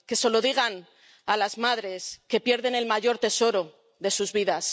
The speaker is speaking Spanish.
que se lo digan a las madres que pierden el mayor tesoro de sus vidas